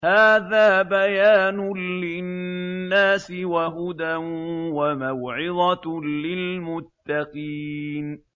هَٰذَا بَيَانٌ لِّلنَّاسِ وَهُدًى وَمَوْعِظَةٌ لِّلْمُتَّقِينَ